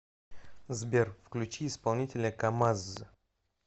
сбер включи исполнителя камазз